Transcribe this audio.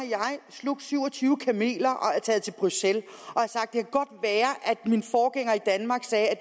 slugt syv og tyve kameler og er taget til bruxelles og min forgænger i danmark sagde at